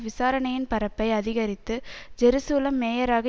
விசாரணையின் பரப்பை அதிகரித்து ஜெருசலம் மேயராக